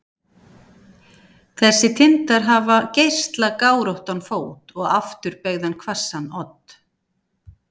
þessir tindar hafa geislagáróttan fót og afturbeygðan hvassan odd